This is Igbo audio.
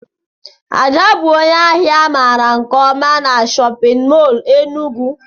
Ada bụ ónyé áhiá a mara nke ọma n'shóppin mol Enugu